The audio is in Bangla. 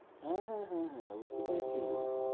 হ্যাঁ হ্যাঁ হ্যাঁ হ্যাঁ বুঝতে পেরেছি।